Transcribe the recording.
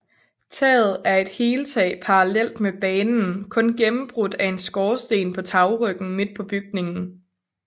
Taget er et heltag parallelt med banen kun gennembrudt af en skorsten på tagryggen midt på bygningen